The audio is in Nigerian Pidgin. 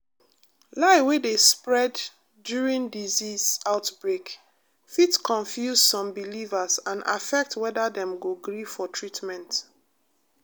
lie wey dey spread during disease outbreak fit confuse some believers and affect whether dem go gree for treatment.